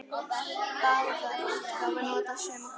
Báðar útgáfur nota sömu kort.